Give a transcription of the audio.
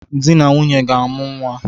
Dị na nwunye ga-amụ nnwa